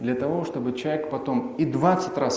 для того чтобы человек потом и двадцать раз